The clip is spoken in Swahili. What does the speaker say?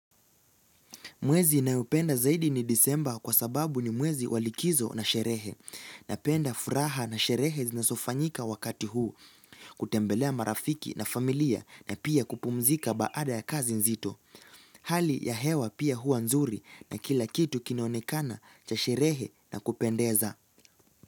Mwezi ninayopenda zaidi ni disemba kwa sababu ni mwezi wa likizo na sherehe. Napenda furaha na sherehe zinazofanyika wakati huu. Kutembelea marafiki na familia na pia kupumzika baada ya kazi nzito. Hali ya hewa pia huwa nzuri na kila kitu kinaonekana cha sherehe na kupendeza.